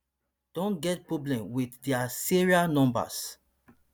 don get problem wit dia serial numbers